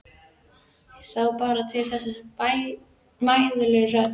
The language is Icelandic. Þá barst til þeirra mæðuleg rödd